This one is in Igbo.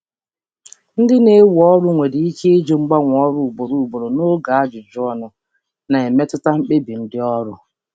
Ndị na-ewe mmadụ n'ọrụ nwere ike ịjụ ajụjụ banyere ịgbanwe ọrụ ugboro ugboro n'oge ajụjụ ọnụ, na-emetụta mkpebi n'ịwere mmadụ.